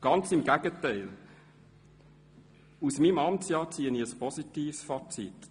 Ganz im Gegenteil: aus meinem Amtsjahr ziehe ich ein positives Fazit.